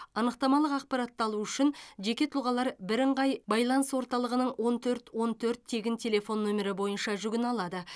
анықтамалық ақпаратты алу үшін жеке тұлғалар бірыңғай байланыс орталығының он төрт он төрт тегін телефон нөмірі бойынша жүгіне алады